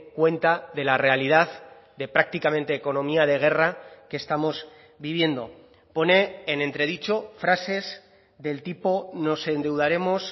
cuenta de la realidad de prácticamente economía de guerra que estamos viviendo pone en entredicho frases del tipo nos endeudaremos